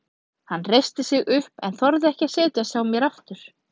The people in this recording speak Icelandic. Hann reisti sig upp en þorði ekki að setjast hjá mér aftur.